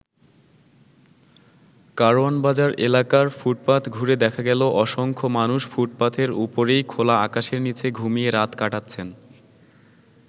কারওয়ান বাজার এলাকার ফুটপাথ ঘুরে দেখা গেল অসংখ্য মানুষ ফুটপাথের উপরই খোলা আকাশের নিচে ঘুমিয়ে রাত কাটাচ্ছেন।